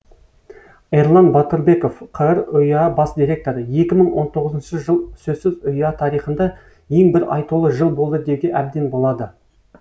эрлан батырбеков қр ұяо бас директоры екі мың он тоғызыншы жыл сөзсіз ұяо тарихында ең бір айтулы жыл болды деуге әбден болады